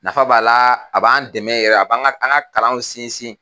Nafa b'a la, a b'an dɛmɛ yɛrɛ , a b'an ka kalanw sinsin.